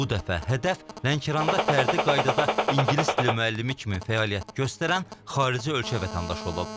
Bu dəfə hədəf Lənkəranda fərdi qaydada ingilis dili müəllimi kimi fəaliyyət göstərən xarici ölkə vətəndaşı olub.